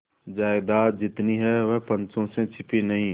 जायदाद जितनी है वह पंचों से छिपी नहीं